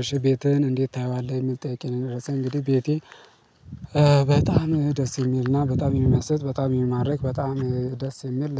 እሺ ቤተህን እንዴት ታየዋለህ? የምል ጥያቄ ነው እንደደረሰኝ እንግዲህ ቤቴ በጣም ደስ የሚልና በጣም የሚመስጥ በጣም የሚማርክ በጣም ደስ የሚል